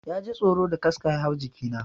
Ya ji tsoro da kaska ya hau jiki na.